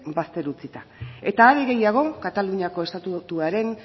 bazter utzita eta are gehiago kataluniako estatutuaren